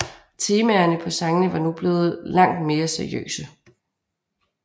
Temaerne på sangene var nu blevet langt mere seriøse